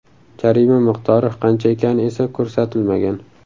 Jarima miqdori qancha ekani esa ko‘rsatilmagan.